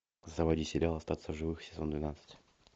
заводи сериал остаться в живых сезон двенадцать